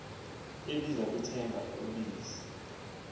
ebize kuthenga ubisi